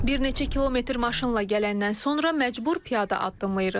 Bir neçə kilometr maşınla gələndən sonra məcbur piyada addımlayırıq.